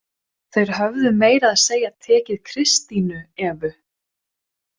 Þeir höfðu meira að segja tekið Kristínu Evu!